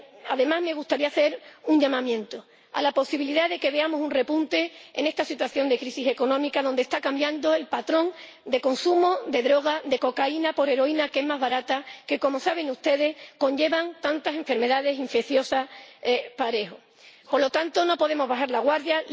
Además, me gustaría hacer una advertencia sobre la posibilidad de que veamos un repunte en esta situación de crisis económica, donde está cambiando el patrón de consumo de drogas de cocaína por heroína, que es más barata y que, como saben ustedes, lleva aparejadas tantas enfermedades infecciosas. Por lo tanto, no podemos bajar la guardia.